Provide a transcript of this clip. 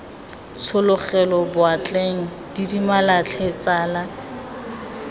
tshologela boatleng didimala tlhe tsala